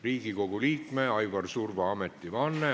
Riigikogu liikme Aivar Surva ametivanne.